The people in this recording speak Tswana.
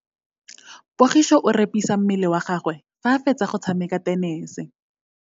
Pogiso o repisa mmele wa gagwe fa a fetsa go tshameka tenese.